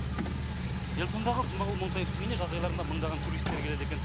эльтондағы смағұл монтаевтың үйіне жаз айларында мыңдаған туристер келеді екен